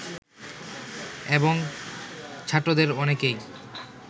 এবং ছাত্রদের অনেকেই